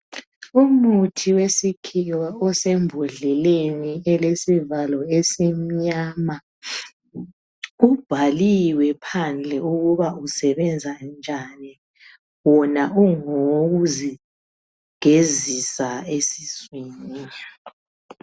Umuthi wesikhiwa osembodleleni esilesivalo esimnyama. Ubhaliwe phandle ukuba usebenza njani, wona ungowokuzi gezisa esiswini.